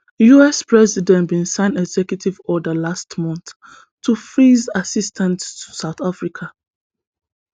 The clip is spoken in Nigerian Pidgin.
us president bin sign executive order last month to freeze assistance to south africa